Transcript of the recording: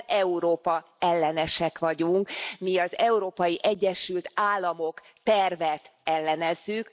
Mi nem Európa ellenesek vagyunk, mi az Európai Egyesült Államok tervet ellenezzük.